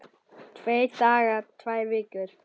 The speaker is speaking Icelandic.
Tveir dagar, tvær vikur?